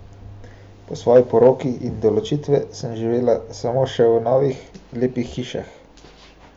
Po svoji poroki in do ločitve sem živela samo še v novih, lepih hišah.